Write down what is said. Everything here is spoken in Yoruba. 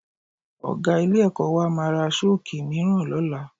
Ọ̀ga ilé-ẹ̀kọ́ wa máa ra Ṣọ́ọ̀kì mìíràn lọ́la